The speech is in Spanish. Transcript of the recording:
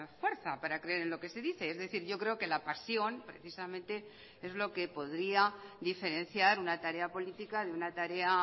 fuerza para creer en lo que se dice es decir yo creo que la pasión precisamente es lo que podría diferenciar una tarea política de una tarea